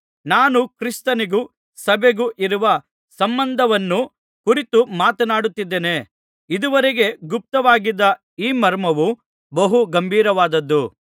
ನಾನು ಕ್ರಿಸ್ತನಿಗೂ ಸಭೆಗೂ ಇರುವ ಸಂಬಂಧವನ್ನು ಕುರಿತು ಮಾತನಾಡುತ್ತಿದ್ದೇನೆ ಇದುವರೆಗೆ ಗುಪ್ತವಾಗಿದ್ದ ಈ ಮರ್ಮವು ಬಹು ಗಂಭೀರವಾದದ್ದು